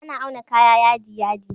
Ana auna kaya yadi yadi